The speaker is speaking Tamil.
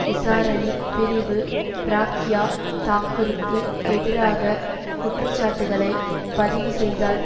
விசாரணைப் பிரிவு பிராக்யா தாக்குருக்கு எதிராக குற்ற சாட்டுக்களை பதிவு செய்தால்